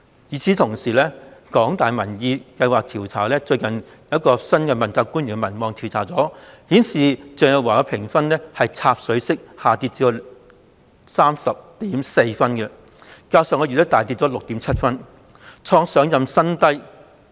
與此同時，香港大學民意研究計劃最近一項關於新任問責官員的民望調查顯示，鄭若驊的評分已"插水式"下跌至 30.4 分，較上月下跌 6.7 分，創上任後的新低。